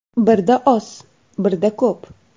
Birda oz, birda ko‘p.